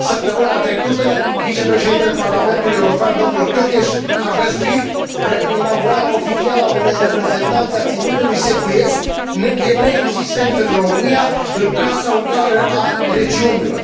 Săptămâna trecută, vicepreședintele Parlamentului European, domnul Tőkés, a găzduit inaugurarea oficială a unei reprezentanțe a Ținutului Secuiesc, neexistent în România, în Casa Ungară a Regiunilor.